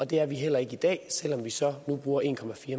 det er vi heller ikke i dag selv om vi så nu bruger en